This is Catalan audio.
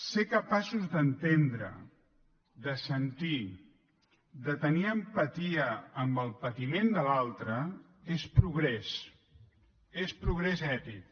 ser capaços d’entendre de sentir de tenir empatia amb el patiment de l’altre és progrés és progrés ètic